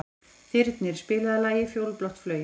Þyrnir, spilaðu lagið „Fjólublátt flauel“.